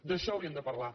d’això hauríem de parlar